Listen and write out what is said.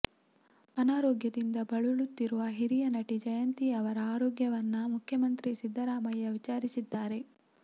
ಅನಾರೋಗ್ಯದಿಂದ ಬಳಲುತ್ತಿರುವ ಹಿರಿಯ ನಟಿ ಜಯಂತಿ ಅವರ ಆರೋಗ್ಯವನ್ನ ಮುಖ್ಯಮಂತ್ರಿ ಸಿದ್ದರಾಮಯ್ಯ ವಿಚಾರಿಸಿದ್ದಾರೆ